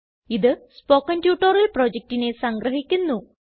ഇത് spoken tutorial പ്രൊജക്റ്റിനെ സംഗ്രഹിക്കുന്നു